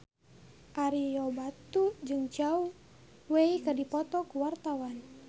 Ario Batu jeung Zhao Wei keur dipoto ku wartawan